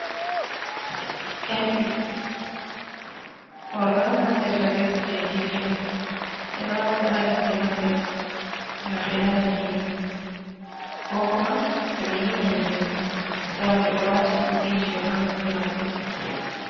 Empi, worbe on naftirta be kujeji ɗo. Beɗo wata ha noppi maɓbe gam be nana gimi kokuma to be yiman gimi a tawon ɓe ɗo wati empijido ha noppi maɓɓe.